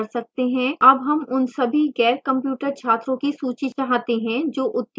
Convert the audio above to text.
अब हम उन सभी गैरcomputer छात्रों की सूची चाहते हैं जो उत्तीर्ण हुए हैं